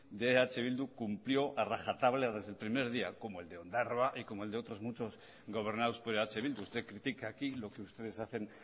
de eh bildu cumplió a rajatabla desde el primer día como el de ondarroa y como el de otros muchas gobernados por eh bildu usted critica aquí lo que ustedes hacen